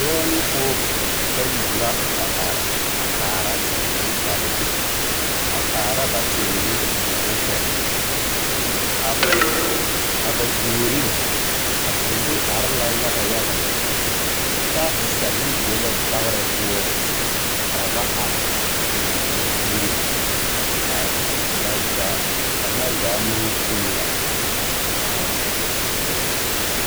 Dɔɔ ne pɔɔbɔ bayi la a are a kaara teere ba naŋ, a kaara ba teere ba naŋ sɛle. A ba puoriŋ, a teere are la yaga yaga lɛ. Kyɛ a tesɛle be la dagarr poɔŋ, ka ba ar a lamboriŋ. Ka ba zaa kaŋa zaa maŋ vuune la a kaara a teere.